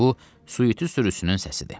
Bu suitilər sürüsünün səsidir.